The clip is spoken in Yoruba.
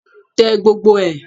Tẹ gbogbo ẹ̀!